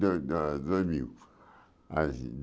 Do do dois mil.